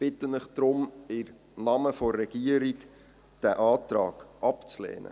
Deshalb bitte ich Sie im Namen der Regierung, diesen Antrag abzulehnen.